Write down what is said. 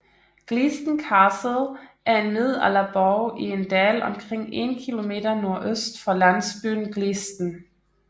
Gleaston Castle er en middelalderborg i en dal omkring 1 km nordøst for landsbyen Gleaston